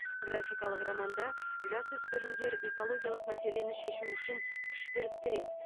графикалық романда жасөспірімдер экологиялық мәселені шешу үшін күш біріктіреді